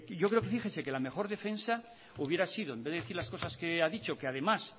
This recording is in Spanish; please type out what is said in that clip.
yo creo que fíjese que la mejor defensa hubiera sido en vez de decir las cosas que ha dicho que además